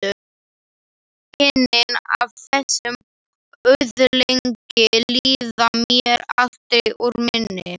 Kynnin af þessum öðlingi líða mér aldrei úr minni.